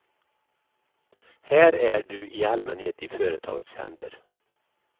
Här är du i allmänhet i företagets händer.